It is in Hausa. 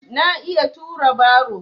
Na iya tura baro.